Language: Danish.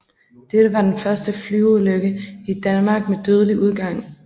Dette var den første flyveulykke i Danmark med dødelig udgang